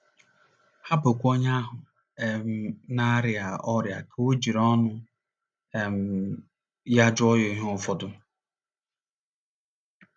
Hapụkwa onye ahụ um na - arịa ọrịa ka o jiri ọnụ um ya jụọ ya ihe ụfọdụ.